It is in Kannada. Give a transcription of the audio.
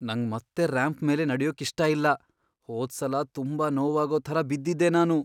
ನಂಗ್ ಮತ್ತೆ ರ್ಯಾಂಪ್ ಮೇಲ್ ನಡ್ಯೋಕ್ಕಿಷ್ಟ ಇಲ್ಲ. ಹೋದ್ಸಲ ತುಂಬಾ ನೋವಾಗೋ ಥರ ಬಿದ್ದಿದ್ದೆ ನಾನು..